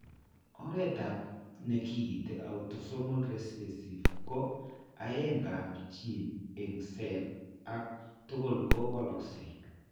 Oretap ne kiinti autosomal recessive ko aeng'ap gene eng' cell ake tugul ko walakse.